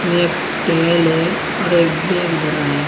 में एक टेवल है और एक बैग धरा है।